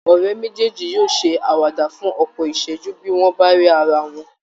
Àwọn ọ̀rẹ́ méjèèjì yóò ṣe àwàdà fún ọ̀pọ̀ ìṣẹ́jú bí wọ́n bá rí ara wọn